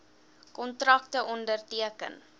kontrakte onderteken